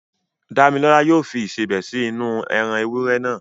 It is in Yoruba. Dámilọ́lá yóò fi Ìṣebẹ̀ sí inú-u ẹran ewúrẹ́ naa